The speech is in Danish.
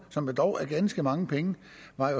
som dog er ganske mange penge